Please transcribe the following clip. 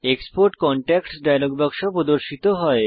export contacts dialog বাক্স প্রদর্শিত হয়